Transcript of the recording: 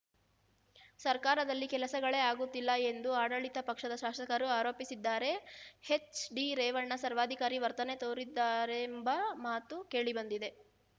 ಸರ್ಕಾರದಲ್ಲಿ ಕೆಲಸಗಳೇ ಆಗುತ್ತಿಲ್ಲ ಎಂದು ಆಡಳಿತ ಪಕ್ಷದ ಶಾಸಕರು ಆರೋಪಿಸುತ್ತಿದ್ದಾರೆ ಎಚ್‌ ಡಿ ರೇವಣ್ಣ ಸರ್ವಾಧಿಕಾರಿ ವರ್ತನೆ ತೋರುತ್ತಿದ್ದಾರೆಂಬ ಮಾತು ಕೇಳಿಬಂದಿವೆ